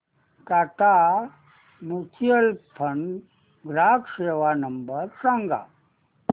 Tata mutual fund ग्राहक सेवा number सांगा